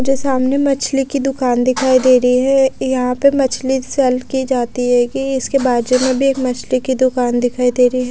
मुझे सामने मछली की दुकान दिखाई दे रही है। यहां पे मछली सेल की जाती है कि इसके बाजू में भी एक मछली की दुकान दिखाई दे रही है।